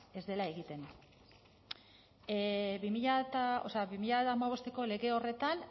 ez dela egiten bi mila hamabosteko lege horretan